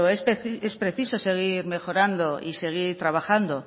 es preciso seguir mejorando y seguir trabajando